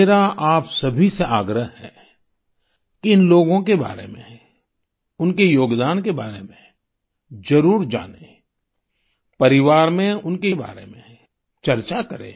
मेरा आप सभी से आग्रह है कि इन लोगों के बारे में उनके योगदान के बारे में जरुर जानें परिवार में उनके बारे में चर्चा करें